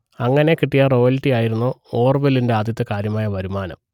അങ്ങനെ കിട്ടിയ റോയൽറ്റി ആയിരുന്നു ഓർവെലിന്റെ ആദ്യത്തെ കാര്യമായ വരുമാനം